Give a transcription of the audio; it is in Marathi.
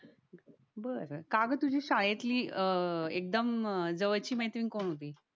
बरं काग तुझी शाळेतली अह एकदम जवळची मैत्रीण कोण होती